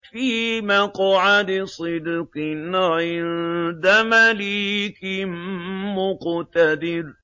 فِي مَقْعَدِ صِدْقٍ عِندَ مَلِيكٍ مُّقْتَدِرٍ